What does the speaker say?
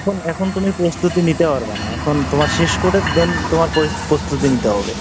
এখন, এখন তুমি প্রস্তুতি নিতে পারবা না, এখন তোমার শেষ করে then তোমার প্রস্তুতি নিতে হবে।